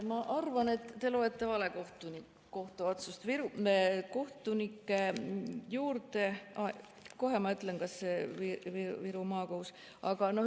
Ma arvan, et te loete vale kohtuotsust.